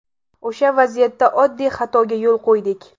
O‘sha vaziyatda oddiy xatoga yo‘l qo‘ydik.